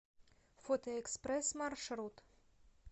фотоэкспресс маршрут